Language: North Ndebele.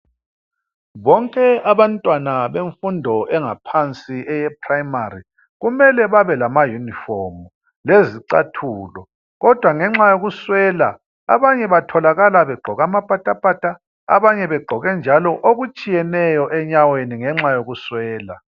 Bonke abantwana bemfundo engaphansi eye "primary" kumele babe lama yunifomu lezicathulo, kodwa ngenxa yokuswela abanye batholakala begqoke amapatapata abanye begqoke njalo okutshiyeneyo enyaweni ngenxa yokuswela.